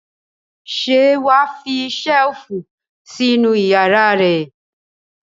Ṣé wà á fi ṣẹ́lífù sínú ìyàrá rẹ?